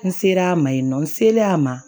N selen a ma yen nɔ n selen a ma